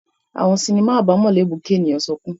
Awọn sinima abamọ le mu ki eniyan sọkun